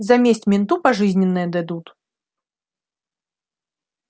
за месть менту пожизненное дадут